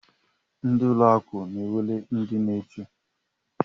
Ndị ụlọ akụ nwere ndị nche.